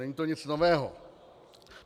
Není to nic nového.